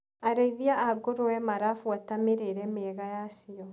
Arĩithia a ngũrũwe marabuata mĩrĩire mĩega yacio.